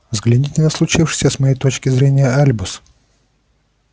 взгляните на случившееся с моей точки зрения альбус